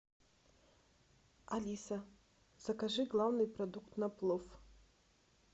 алиса закажи главный продукт на плов